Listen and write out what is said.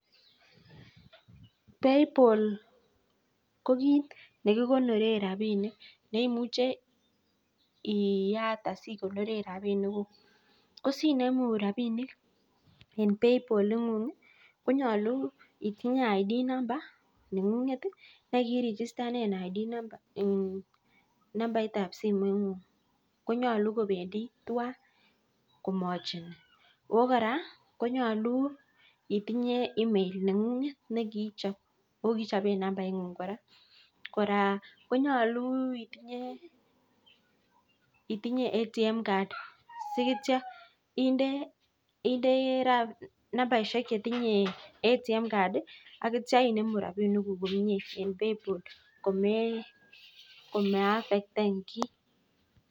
(payball) ko kit nekikonoree rabinik neimuche iyat asikonoree rabinik kuk asinemuu rabishek konyaluu itinyee ID nengunget ak (number) chebo simet nguk ak (ATM card) nengunget